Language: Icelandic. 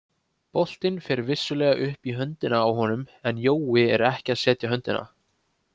Boltinn fer vissulega upp í höndina á honum en Jói er ekki að setja höndina.